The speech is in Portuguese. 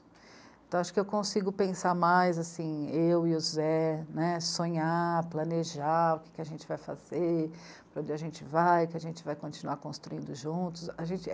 Então, acho que eu consigo pensar mais, assim, eu e o Zé, né, sonhar, planejar o que a gente vai fazer, para onde a gente vai, o que a gente vai continuar construindo juntos, a gente...